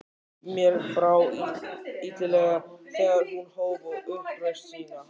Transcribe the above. Mér brá illilega þegar hún hóf upp raust sína